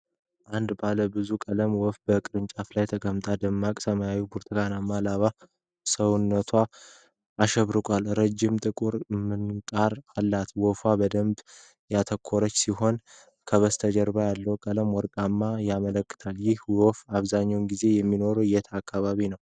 አንድ ባለ ብዙ ቀለም ወፍ በቅርንጫፍ ላይ ተቀምጧል። ደማቅ ሰማያዊና ብርቱካናማ ላባዎች ሰውነቱን አሸብርቀውታል። ረጅም ጥቁር ምንቃር አለው። ወፉ በደንብ ያተኮረ ሲሆን ከበስተጀርባ ያለው ቀለም ወርቃማ ይመስላል። ይህ ወፍ አብዛኛውን ጊዜ የሚኖረው የት አካባቢ ነው?